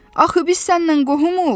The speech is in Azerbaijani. Axı biz səninlə qohumuq?